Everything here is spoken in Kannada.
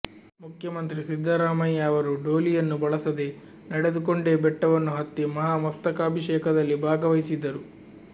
ಮುಖ್ಯಮಂತ್ರಿ ಸಿದ್ಧರಾಮಯ್ಯ ಅವರೂ ಡೋಲಿಯನ್ನು ಬಳಸದೇ ನಡೆದುಕೊಂಡೇ ಬೆಟ್ಟವನ್ನು ಹತ್ತಿ ಮಹಾಮಸ್ತಕಾಭಿಷೇಕದಲ್ಲಿ ಭಾಗವಹಿಸಿದ್ದರು